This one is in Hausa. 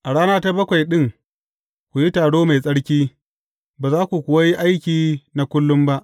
A rana ta bakwai ɗin ku yi taro mai tsarki, ba za ku kuwa yi aiki na kullum ba.’